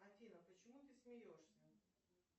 афина почему ты смеешься